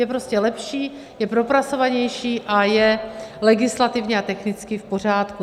Je prostě lepší, je propracovanější a je legislativně a technicky v pořádku.